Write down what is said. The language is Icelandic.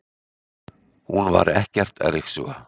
Hún var ekkert að ryksuga.